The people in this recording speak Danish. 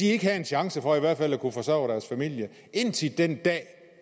ikke have en chance for i hvert fald at kunne forsørge deres familie indtil den dag